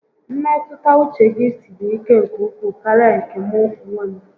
Mmetụta uche gi siri ike nke ukwuu karịa nke mụ onwe m